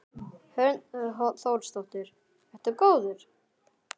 Hrund Þórsdóttir: Ertu góður?